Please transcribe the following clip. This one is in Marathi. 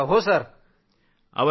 हो खरं आहे।